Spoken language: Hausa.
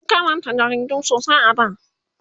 an Karanta jaridu sosai a da